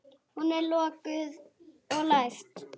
Hún er lokuð og læst.